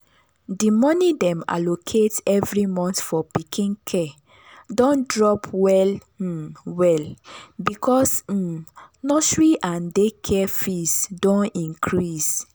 the money dem allocate every month for pikin care don drop well um well because um nursery and daycare fees don increase.